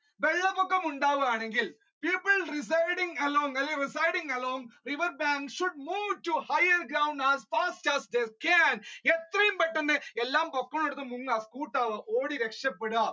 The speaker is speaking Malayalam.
വെള്ളപൊക്കം ഉണ്ടാകുകയാണെങ്കിൽ people residing along അല്ലെ people residing along the riverbank should move to higher grounds as fast they can എത്രയും പെട്ടെന്നു എല്ലാ എടുത്ത് മുങ്ങുക scoot ആകുക ഓടി രക്ഷപ്പെടുക